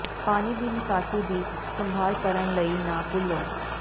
ਪਾਣੀ ਦੀ ਨਿਕਾਸੀ ਦੀ ਸੰਭਾਲ ਕਰਨ ਲਈ ਨਾ ਭੁੱਲੋ